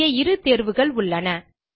இங்கே இரு தேர்வுகள் உள்ளன